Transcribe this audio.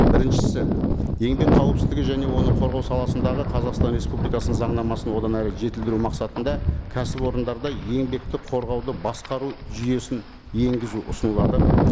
біріншісі еңбек қауіпсіздігі және оны қорғау саласындағы қазақстан республикасының заңнамасын одан әрі жетілдіру мақсатында кәсіпорындарда еңбекті қорғауды басқару жүйесін енгізу ұсынылады